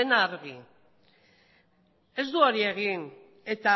dena argi ez du hori egin eta